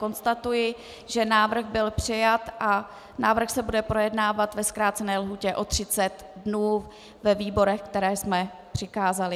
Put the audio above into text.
Konstatuji, že návrh byl přijat a návrh se bude projednávat ve zkrácené lhůtě o 30 dnů ve výborech, které jsme přikázali.